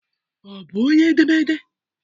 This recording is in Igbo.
Ọ bụ onye edemede?